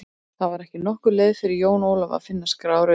Það var ekki nokkur leið fyrir Jón Ólaf að finna skrár eða upplýsingar.